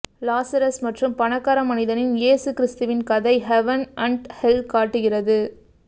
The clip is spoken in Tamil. லாசரஸ் மற்றும் பணக்கார மனிதனின் இயேசு கிறிஸ்துவின் கதை ஹெவன் அண்ட் ஹெல் காட்டுகிறது